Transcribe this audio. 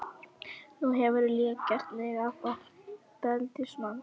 Nú hefurðu líka gert mig að ofbeldismanni.